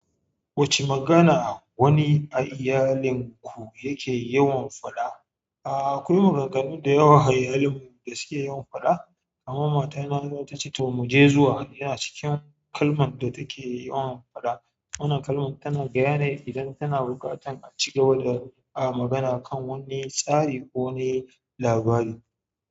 Wacce magana wani a iyalinku yake yawan faɗa akwai maganganu da yawa a iyalina da suke yawan faɗa, amma matana za ta ce to mu je zuwa yana cikin kalman da take yawan faɗa. Wannan kalman tana gaya ne idan tana buƙatan a cigaba da magana kan wani tsari ko wani labari.